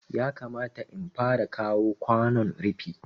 Yakamata in fara kawo kwanon rufi